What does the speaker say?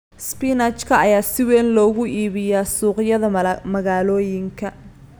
Spinach-ka ayaa si weyn loogu iibiyaa suuqyada magaalooyinka.